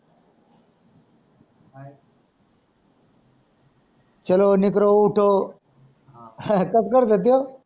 चलो निकरो उठो असच करतो ते,